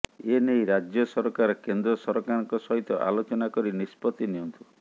ଏନେଇ ରାଜ୍ୟ ସରକାର କେନ୍ଦ୍ରସରକାରଙ୍କ ସହିତ ଆଲୋଚନା କରି ନିଷ୍ପତ୍ତି ନିଅନ୍ତୁ